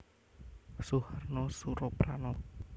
Suharna Surapranata